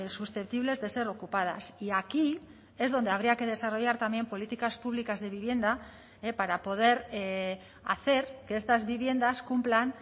susceptibles de ser ocupadas y aquí es donde habría que desarrollar también políticas públicas de vivienda para poder hacer que estas viviendas cumplan